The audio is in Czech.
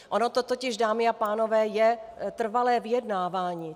Ono to totiž, dámy a pánové, je trvalé vyjednávání.